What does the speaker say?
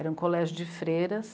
Era um colégio de freiras.